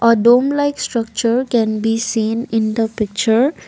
A dome like structure can be seen in the picture.